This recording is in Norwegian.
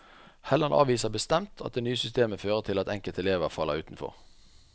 Helland avviser bestemt at det nye systemet fører til at enkelte elever faller utenfor.